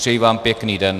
Přeji vám pěkný den.